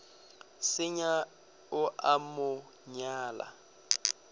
senya o a mo nyala